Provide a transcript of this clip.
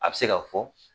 A bɛ se ka fɔ